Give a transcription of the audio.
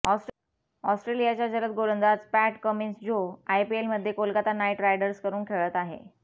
ऑस्ट्रेलियाचा जलद गोलंदाज पॅट कमिंन्स जो आयपीएलमध्ये कोलकाता नाइट रायडर्सकडून खेळत आहे